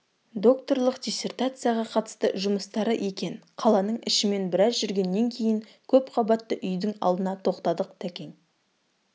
докторлық диссертацияға қатысты жұмыстары екен қаланың ішімен біраз жүргеннен кейін көп қабатты үйдің алдына тоқтадық тәкең